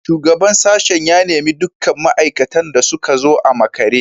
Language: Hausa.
Shugaban sashen ya nemi dukkan ma’aikatan da su zo a makare